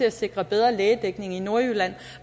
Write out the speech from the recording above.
at sikre bedre lægedækning i nordjylland